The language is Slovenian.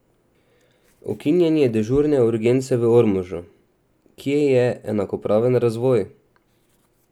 Ukinjanje dežurne urgence v Ormožu: "Kje je enakopraven razvoj?